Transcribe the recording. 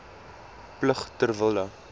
plig ter wille